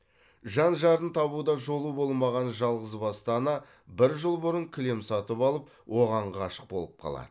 жан жарын табуда жолы болмаған жалғызбасты ана бір жыл бұрын кілем сатып алып оған ғашық болып қалады